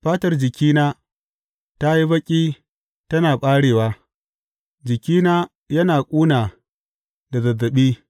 Fatar jikina ta yi baƙi tana ɓarewa; jikina yana ƙuna da zazzaɓi.